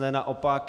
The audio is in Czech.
Naopak.